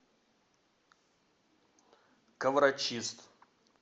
коврочист